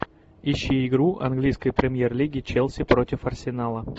ищи игру английской премьер лиги челси против арсенала